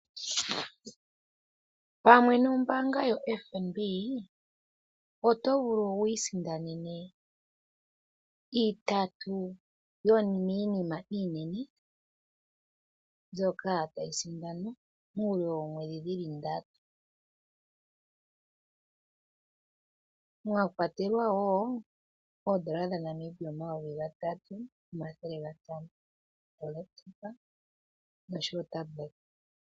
Pamwe nombaanga yoFNB oto vulu wu isindanene itatu yomiinima yomiinima iinene mbyoka tayi sindanwa muule woomwedhi dhi li ndatu, mwa kwatelwa wo ooN$ 3500, olekitopa noshowo otabuleta.